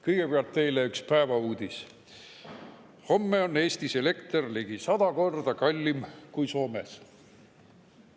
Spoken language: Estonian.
Kõigepealt teile üks päevauudis: "Homme on Eestis elekter ligi 100 korda kallim kui Soomes.